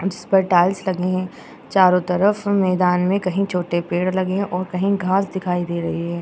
जिसपर टाइल्स लगी हैं चारों तरफ मैदान में कहीं छोटे पेड़ लगे हैं और कहीं घाँस दिखाई दे रही है।